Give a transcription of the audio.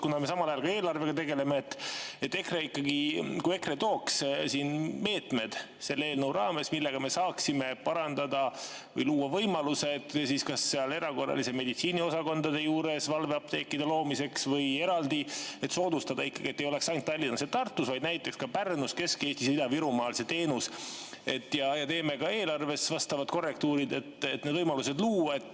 Me samal ajal tegeleme ka eelarvega, kui EKRE ikkagi tooks siia meetmed selle eelnõu raames, millega me saaksime parandada või luua võimalused valveapteekide loomiseks kas erakorralise meditsiini osakondade juures või eraldi, et soodustada ikkagi seda, et ei oleks ainult Tallinnas ja Tartus, vaid näiteks ka Pärnus, Kesk-Eestis ja Ida-Virumaal see teenus, ja teeksime ka eelarves vastavad korrektuurid, et need võimalused luua.